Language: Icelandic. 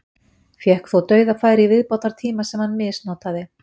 Fékk þó dauðafæri í viðbótartíma sem hann misnotaði.